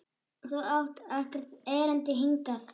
Þú átt ekkert erindi hingað.